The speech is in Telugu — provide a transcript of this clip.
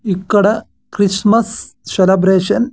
ఇక్కడ క్రిస్మస్ సెలబ్రేషన్ .